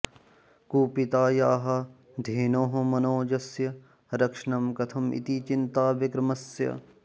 कुपितायाः धेनोः मनोजस्य रक्षणं कथम् इति चिन्ता विक्रमस्य